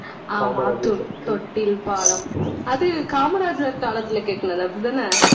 ஆஹ் மாத்தூர் தொட்டில் பாலம் அது காமராஜர் காலத்துல கட்டினது அப்படித்தானே